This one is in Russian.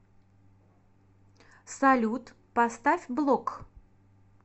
салют поставь блок